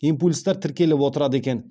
импульстар тіркеліп отырады екен